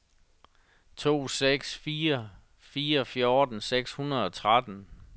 to seks fire fire fjorten seks hundrede og tretten